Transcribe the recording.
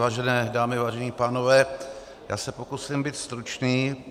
Vážené dámy, vážení pánové, já se pokusím být stručný.